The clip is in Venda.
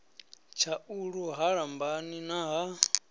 tshaulu ha lambani na ha